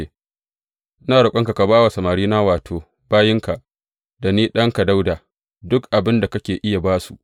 Ina roƙonka ka ba wa samarina, wato, bayinka, da ni ɗanka Dawuda, duk abin da kake iya ba su.